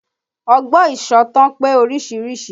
Ọgbọ́n ìsọ̀tàn pé oríṣiríṣi